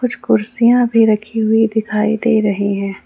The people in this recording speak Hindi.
कुछ कुर्सियां भी रखी हुई दिखाई दे रही हैं।